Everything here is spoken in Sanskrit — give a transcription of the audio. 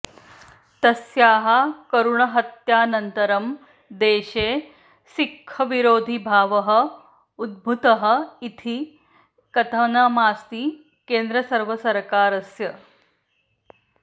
तस्याः करुणहत्यानन्तरं देशे सिक्खविरोधिभावः उद्भूतः इति कथनमासीत् केन्द्रसर्वकारस्य